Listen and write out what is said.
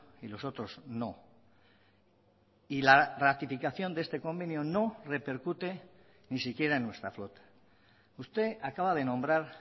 y los otros no y la ratificación de este convenio no repercute ni siquiera en nuestra flota usted acaba de nombrar